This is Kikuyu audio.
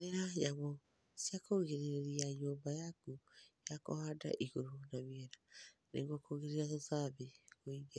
Hũthĩra nyamũ cia kũrigĩrĩria nyũmba yaku ya kũhanda igũrũ na miena nĩguo kũgirĩrĩria tũtambi kũingĩra